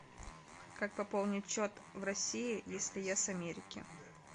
как пополнить счет в россии если я с америки